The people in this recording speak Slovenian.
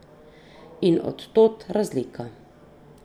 In od tod razlika.